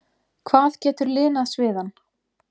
hvað getur linað sviðann?